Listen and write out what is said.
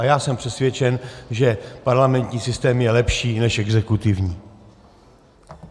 A já jsem přesvědčen, že parlamentní systém je lepší než exekutivní.